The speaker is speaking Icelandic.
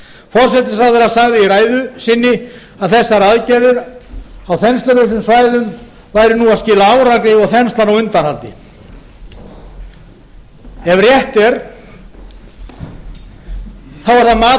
forsætisráðherra sagði í ræðu sinni að þessar aðgerðir á þenslulausum svæðum væru nú að skila árangri og þenslan á undanhaldi ef rétt er er það mat